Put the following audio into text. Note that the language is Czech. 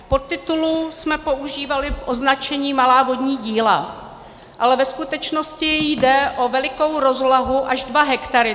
V podtitulu jsme používali označení malá vodní díla, ale ve skutečnosti jde o velikou rozlohu, až dva hektary.